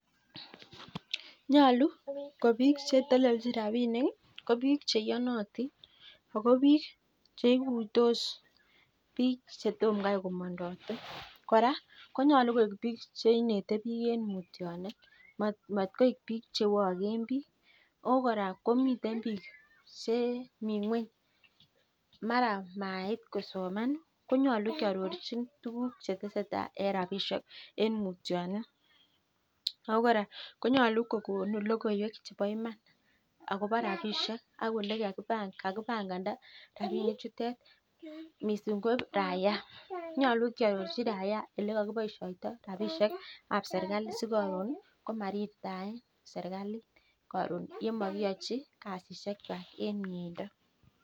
Nyaluu ko bik chetelelnin rabinik ko bik che ikutos biik chetomoo kopendotii koraa ko bik cheinete eng mutyanet koraa komii bik chemasoman kiarorjin ako konun logoywek cheboo rabishek